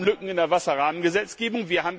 Wir haben Lücken in der Wasserrahmengesetzgebung.